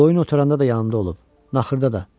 Qoyun otaranda da yanımda olub, naxırda da.